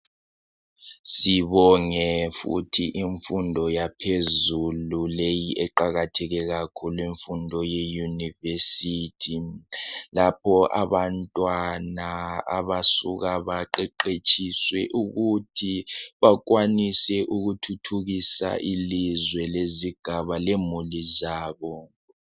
sibonge futhi imfundo yaphezulu leyi eqakatheke kakhulu imfundo ye university lapho abantwana abasuka baqeqetshiswe ukuthi bakwanise ukuthuthukisa ilizwe lezigaba lemuli zabo